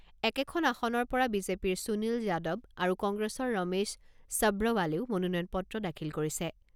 একেখন আসনৰ পৰা বিজেপিৰ সুনীল যাদৱ আৰু কংগ্ৰেছৰ ৰমেশ চব্ৰৱালেও মনোনয়ন পত্ৰ দাখিল কৰিছে।